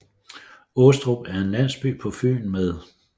Åstrup er en landsby på Fyn med